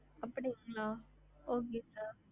அப்டிங்களா நீங்க உங்களோட invoices